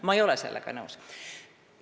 Ma ei ole sellega nõus.